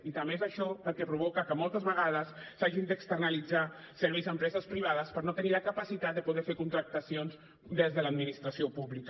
i també és això el que provoca que moltes vegades s’hagin d’externalitzar serveis a empreses privades per no tenir la capacitat de poder fer contractacions des de l’administració pública